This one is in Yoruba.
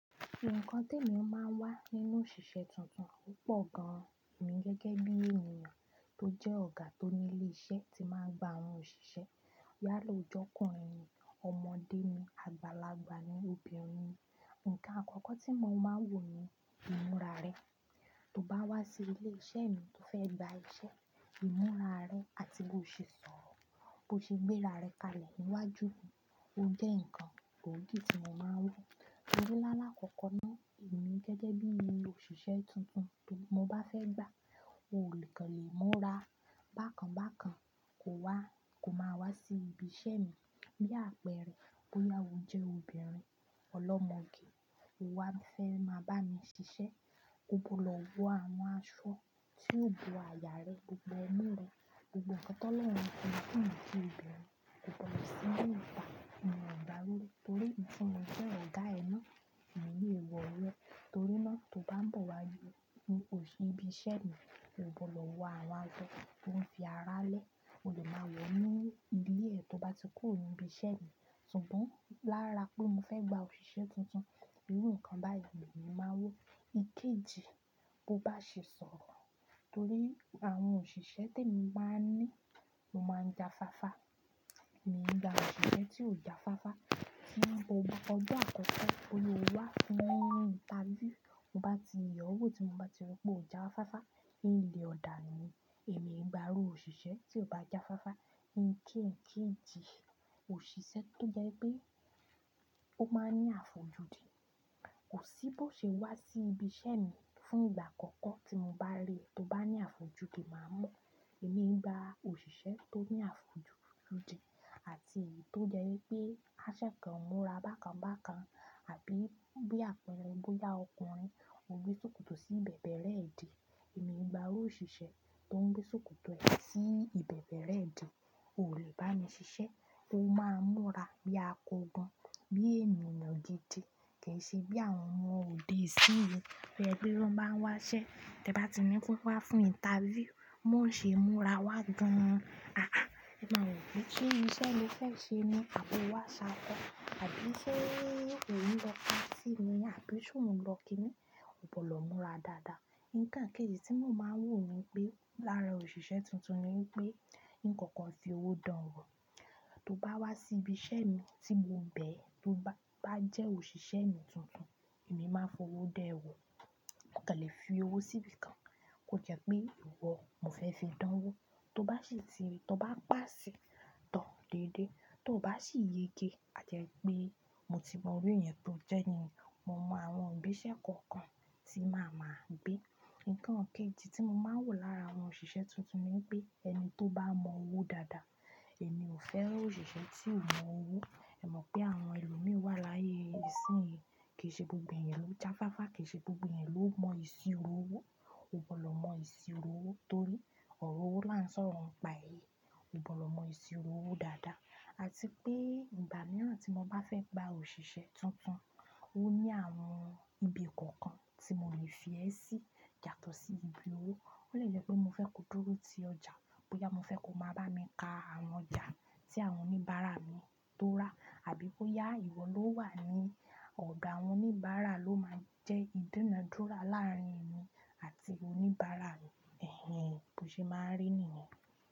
Nǹkan tí èmi máa ń wá nínú òṣìṣẹ́ tuntun o pọ̀ gan-an, èmi gẹ́gẹ́ bí ènìyàn tó jẹ́ ọ̀gá tó ní ilé iṣẹ́ tí máa ń gba àwọn òṣìṣẹ́. Yála o jọ́kùnrin mi, ọmọdé mi, àgbàlagbà mi, obìnrin mi. Ǹkan àkọ́kọ́ tí mo máa wò ni ìmúra rẹ. Tó bá wá sí ilé iṣẹ́ mi tó fẹ́ gba iṣẹ́, ìmúra rẹ àti bí o ṣe sọ̀rọ̀, bí o ṣe gbé ara rẹ kalẹ̀ níwájú mi ó jẹ́ ǹkan gboogí tí mo máa wò. Torí lálákọ̀kọ̀ náà, èmi gẹ́gẹ́ bí i òṣìṣẹ́ tuntun tó mo bá fẹ́ gba, o lè kàn lè múra bákan bákan, kò wá, kò máa wá sí ibi iṣẹ́ mi. Bí àpẹẹrẹ, bóyá o jẹ́ obìnrin ọlọ́mọge, o wá ń fẹ́ máa bá mi ṣiṣẹ́, ko gbọdọ̀ wọ àwọn aṣọ tí ó bo aya rẹ, gbogbo omú rẹ, gbogbo nkán tolọ́run fi jinki obìnrin. Ko gbọdọ̀ sì gbé ìbà nínú ìgbàlódé torí nìkan mo jẹ́ ọ̀gá ẹ náà ní ilé ìwọ̀lẹ́. Torí náà tó bá ń bọ̀ wá ju ní òṣì ibi iṣẹ́ mi, o gbọdọ̀ wọ àwọn aṣọ tó ń fi ara lẹ́. O lè máa wọ̀ ọ ní ibi ilé ẹ tó bá ti kúrò ní ibi iṣẹ́ mi. Ṣùgbọ́n lára pé mo fẹ́ gba òṣìṣẹ́ tuntun, irú nǹkan báyìí ni mo máa wò. Ikéji, bó bá ṣe sọ̀rọ̀ torí àwọn òṣìṣẹ́ tí èmi máa ń ní, o máa ń jáfáfá. Èmi ń gba òṣìṣẹ́ tí ò jáfáfá, tí a ń bọ̀ wá ọjo àkọ́kọ́ boya o wá fún ìnterview. Mo bá ti ye o wo, tí mo bá ti ri pé o jáfáfá, ín lé ọ̀ dànu ni. Èmi ń gba irú òṣìṣẹ́ tí ò bá jáfáfá. Ǹkan ekéèjì, òṣìṣẹ́ tó jẹ́ pé ó máa ń ní àfojúdi. Kò sí bó ṣe wá sí ibi iṣẹ́ mi fún ìgbà àkọ́kọ́ tí mo bá rí ẹ tó bá ní àfojúdi máa mọ̀. Èmi ń gba òṣìṣẹ́ tó ní àfojúdi àti èyí tó jẹ́ wípé aṣẹ kan múra bákan bákan. Àbí bí àpẹẹrẹ, bóyá ọkùnrin, o gbé ṣòkòtò sí bẹ̀bẹ̀rẹ idí. Èmi ń gba irú òṣìṣẹ́ tó ń gbé ṣòkòtò ẹ sí ìbẹ̀bẹ̀rẹ idí. O lè bá mi ṣiṣẹ́, kí o máa ń múra bí akogun. Bí ènìyàn gidi, kì í ṣe bí àwọn ọmọ òde isínyi to je pe tan bá ń wá ṣẹ́. Tẹ bá ti ní kán wa fún ìnterview, bi won o ṣe múra wá gan-an. Àáà, ẹ máa wo pe, "se iṣẹ́ lo fẹ́ ṣe ní àbò wá ṣákọ́?, àbí ṣé ò ń lọ patií ni, àbí ṣé ò ń lọ kínni. O gbọdọ̀ lọ múra dáadáa. Ǹkan kéèjì tí mo máa ń wò ní pé lára òṣìṣẹ́ tuntun ni wípé, ǹkoko fi owó dánwò. Tó bá wá sí ibi iṣẹ́ mi tí mo ń bẹ̀, tó bá jẹ́ òṣìṣẹ́ mi tuntun, èmi máa fowó dan ẹ wò. O kàn lè fi owó sí ibìkan, kò jẹ́ pé ìwọ, mo fẹ́ fi dánwò. Tó bá sì ti rí, tó bá pàaṣi to déédéé, tó bá sì yege à jẹ pé mo ti mọ iru ẹ̀yan tó jẹ́ nìyen, mo mọ àwọn igbésẹ̀ kọ̀ọ̀kan tí màá ma gbé. Ǹkan kéèjì tí mo máa ń wò lára àwọn òṣìṣẹ́ tuntun ni wípé ẹni tó bá mọ owó dáadáa. Èmi ò fẹ́ òṣìṣẹ́ tí ò mọ owó. Ẹ mọ̀ pé àwọn ẹlòmí wà láyé, ìsìn yìí kì í ṣe gbogbo ẹ̀eyan ló jáfáfá, kì í ṣe gbogbo ẹ̀eyan ló mọ ìsìro owó. O gbọdọ̀ mọ ìsìro owó torí ọ̀rọ̀ owó là ń sọ̀rọ̀ ń pa èyí. O gbọdọ̀ mọ ìsì owó dáadáa àti pé ìgbà mìíràn tí mo bá fẹ́ gba òṣìṣẹ́ tuntun, ó ní àwọn ibi kọ̀ọ̀kan tí mo lè fi ẹ́ sí, yatọ̀ sí ibi owó. Ó lè jẹ́ pé mo fẹ́ kó dúró ti ọjà, bóyá mo fẹ́ kó máa bá mi ka àwọn ọjà tí àwọn oníbàárà mi tó rà. Àbí bóyá ìwọ ló wà ní ọdo àwọn oníbàárà ló máa ń jẹ́ ìdunádúra láàárín ẹmi àti oníbàárà mi. Ẹ̀hẹ̀n, bó ṣe máa ń rí ènìyàn.